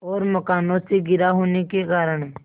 और मकानों से घिरा होने के कारण